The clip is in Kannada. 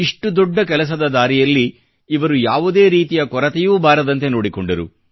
ಇಷ್ಟು ದೊಡ್ಡ ಕೆಲಸದ ದಾರಿಯಲ್ಲಿ ಇವರು ಯಾವುದೇ ರೀತಿಯ ಕೊರತೆಯೂ ಬಾರದಂತೆ ನೋಡಿಕೊಂಡರು